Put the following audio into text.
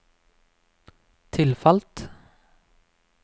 tilfalt